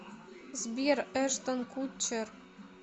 сбер эштон кутчер